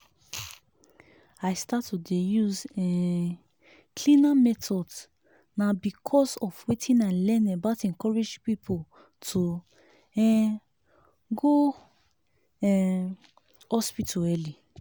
i start to dey use um cleaner methods na because of wetin i learn about encouraging people to um go um hospital early.